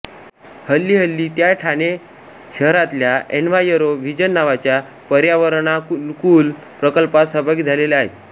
हल्लीहल्ली त्या ठाणे शहरातल्या Enviro Vision नावाच्या पर्यावरणानुकूल प्रकल्पात सहभागी झालेल्या आहेत